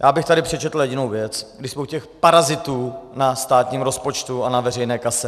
Já bych tady přečetl jedinou věc, když jsme u těch parazitů na státním rozpočtu a na veřejné kase.